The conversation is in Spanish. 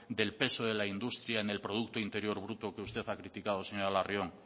del peso de la industria en el producto interior bruto que usted ha criticado señora larrión